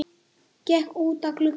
Gekk út að glugga.